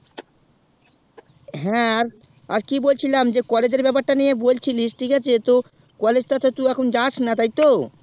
হ্যাঁ আর কি বলছিলাম যে college এর ব্যাপার তা নিয়ে বলছিলিস ঠিক আছে তো collage তা তুই এখন যাস না তো